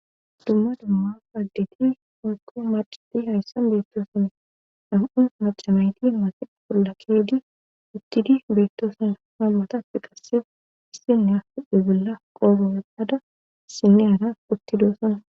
Dumma dumma agdidi hooko macadi hayssan beettooson dam7u macamayti maasi polla keedi uttidi beettoosona nammatafi qassef issinnea hudu bella qoru appada sinne ana uttidooson.